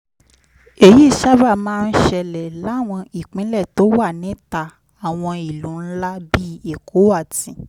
èyí sábà máa ń ṣẹlẹ̀ láwọn ìpínlẹ̀ tó wà níta àwọn ìlú ńlá bíi èkó àti